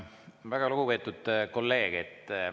Väga lugupeetud kolleeg!